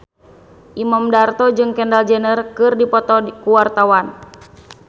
Imam Darto jeung Kendall Jenner keur dipoto ku wartawan